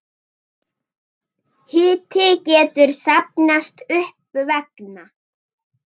Hiti getur safnast upp vegna